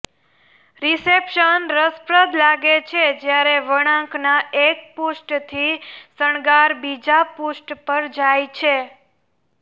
reception રસપ્રદ લાગે છે જ્યારે વળાંકના એક પૃષ્ઠથી શણગાર બીજા પૃષ્ઠ પર જાય છે